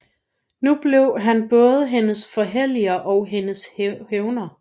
Nu blev han både hendes forherliger og hendes hævner